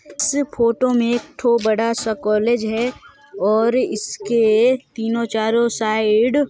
photo में एक बड़ा सा कॉलेज है और इसके तीनों चारों साइड--